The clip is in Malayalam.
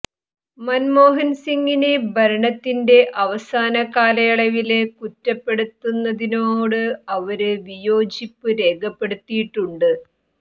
മന്മോഹന് സിംഗിനെ ഭരണത്തിന്റെ അവസാന കാലയളവില് കുറ്റപ്പെടുത്തുന്നതിനോട് അവര് വിയോജിപ്പ് രേഖപ്പെടുത്തിയിട്ടുണ്ട്